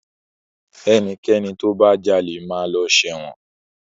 Ẹnikẹ́ni tó bá jalè máa lọ sẹ́wọ̀n.